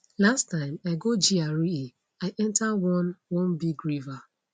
last time i go gra i enta one one big river